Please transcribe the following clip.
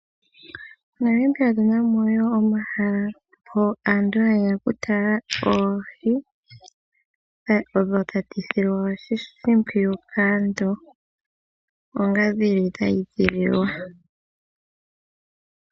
Monamibia otunamo omahala hono aantu hayeya okutala oohi hono tadhi silwa oshimpwiyu kaantu onga dhili dha edhililwa